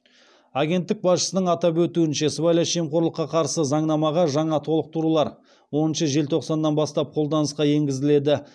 агенттік басшысының атап өтуінше сыбайлас жемқорлыққа қарсы заңнамаға жаңа толықтырулар оныншы желтоқсаннан бастап қолданысқа енгізіледі